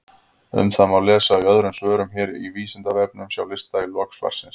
Um það má lesa í öðrum svörum hér á Vísindavefnum, sjá lista í lok svarsins.